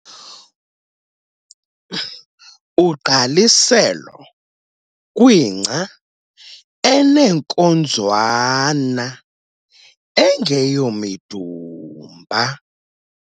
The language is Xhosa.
Ugqaliselo kwingca eneenkonzwana - engeyomidumba.